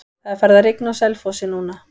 Það er farið að rigna á Selfossi núna.